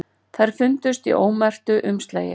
Þær fundust í ómerktu umslagi